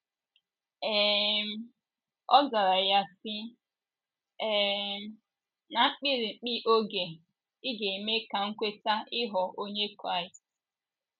um Ọ zara ya sị: “ um Ná mkpirikpi oge ị ga - eme ka m kweta ịghọ onye Kraịst. ”